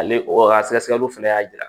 Ale o ka sɛgɛsɛgɛliw fana y'a jira